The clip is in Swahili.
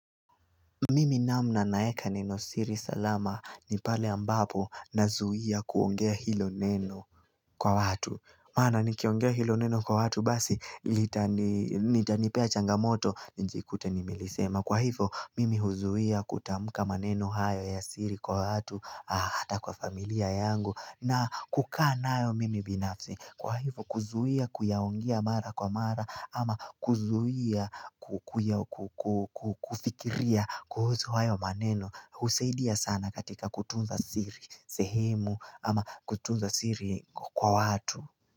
Mimi namna naeka neno siri salama ni pale ambapo na zuia kuongea hilo neno kwa watu Mana nikiongea hilo neno kwa watu basi litani litanipea changamoto njikute nimelisema Kwa hivo mimi huzuia kutamuka maneno hayo ya siri kwa watu hata kwa familia yangu na kukaa nayo mimi binafsi Kwa hivo kuzuia kuyaongea mara kwa mara ama kuzuia kufikiria kuhusu hayo maneno husaidia sana katika kutunza siri sehemu ama kutunza siri kwa watu.